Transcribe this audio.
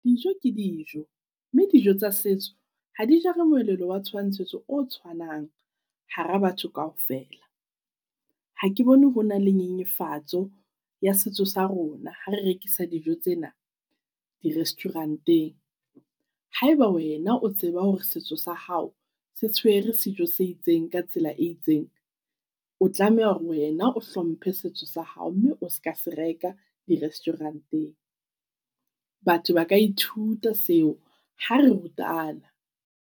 Dijo ke dijo, mme dijo tsa setso ha di jare moelelo wa tshwantshiso o tshwanang hara batho kaofela. Ha ke bone hona le nyenyefatso ya setso sa rona ha re rekisa dijo tsena di-restaurant-eng. Haeba wena o tseba hore setso sa hao se tshwere sejo se itseng ka tsela e itseng, o tlameha hore wena o hlomphe setso sa hao mme o ska se reka di-restaurant-eng. Batho ba ka ithuta seo ha re rutana.